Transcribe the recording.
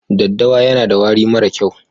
Ɗaddawa yana da wari mara kyau.